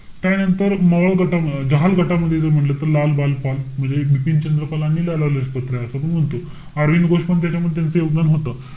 त्यानंतर मवाळ गटा~ जहाल गटामध्ये जर म्हंटल तर, लाल बाल पाल, म्हणजे एक बिपीन चंद्र पलानी, लाला लजपत राय असं तो म्हणतो. अरविंद घोष पण त्याच्यामध्ये त्यांचं योगदान होतं.